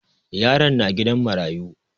Yaron na gidan marayu.